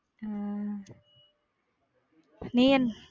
உம் நீ என்ன.